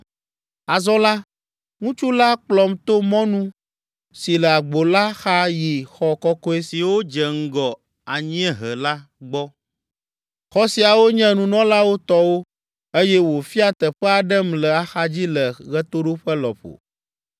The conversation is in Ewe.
Azɔ la, ŋutsu la kplɔm to mɔnu si le agbo la xa yi xɔ kɔkɔe siwo dze ŋgɔ anyiehe la gbɔ; xɔ siawo nye nunɔlawo tɔwo, eye wòfia teƒe aɖem le axadzi le ɣetoɖoƒe lɔƒo.